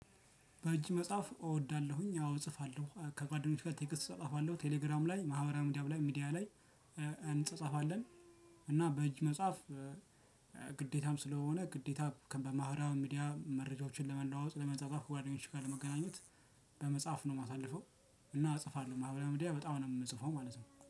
በእጅ መጻፍ እወዳለሁኝ ያው እጽፋለሁ ከጓደኞቼ ጋር ቴክስት እጻጻፋለሁ ቴሌግራም ላይ ማህበራዊ ሚዲያ ላይ ሚዲያ ላይ እንጻጻፋለን እና በእጅ መጽሐፍ ግዴታም ስለሆነ ግዴታ በማህበራዊ ሚዲያ መረጃዎችን ለመለዋወጥ ለመጻጻፍ ጓደኞች ጋር ለመገናኘት በመጻፍ ነው የማሳልፈው። እና እጽፋለሁ ማህበራዊ ሚዲያ በጣም ነው የምጽፈው ማለት ነው